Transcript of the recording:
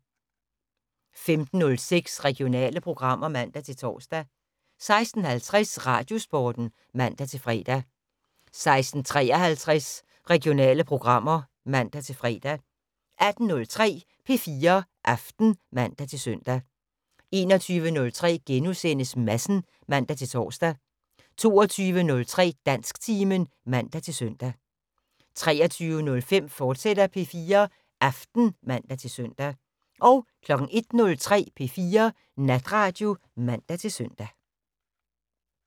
15:06: Regionale programmer (man-tor) 16:50: Radiosporten (man-fre) 16:53: Regionale programmer (man-fre) 18:03: P4 Aften (man-søn) 21:03: Madsen *(man-tor) 22:03: Dansktimen (man-søn) 23:05: P4 Aften, fortsat (man-søn) 01:03: P4 Natradio (man-søn)